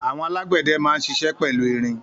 Àwọn alágbẹ̀dẹ máa ń ṣiṣẹ́ pẹ̀lú irin.